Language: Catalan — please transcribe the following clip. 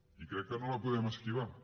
i crec que no la podem esquivar